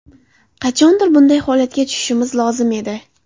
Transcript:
Qachondir bunday holatga tushishimiz lozim edi.